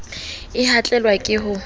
he a tlelwa ke ho